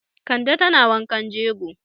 Kande tana wankan jego.